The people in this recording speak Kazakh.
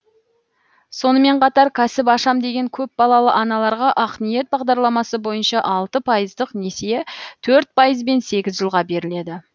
сонымен қатар кәсіп ашам деген көпбалалы аналарға ақниет бағдарламасы бойынша алты пайыздық несие төрт пайызбен сегіз жылға беріледі